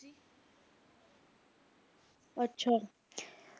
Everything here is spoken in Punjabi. ਅੱਛਾ